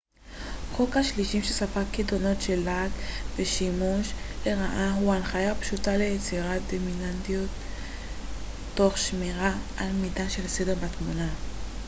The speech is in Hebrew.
חוק השלישים שספג קיטונות של לעג ושימוש לרעה הוא הנחיה פשוטה ליצירת דינמיות תוך שמירה על מידה של סדר בתמונה